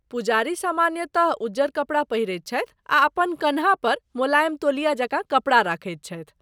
पुजारी सामान्यतः उज्जर कपड़ा पहिरैत छथि आ अपन कान्ह पर मोलाएम तौलिया जकाँ कपड़ा रखैत छथि।